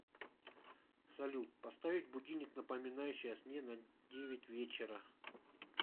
салют поставить будильник напоминающий о сне на девять вечера